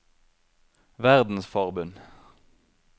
verdensforbund